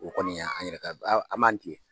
O kɔni yan an yɛrɛ ka an ba ani ce.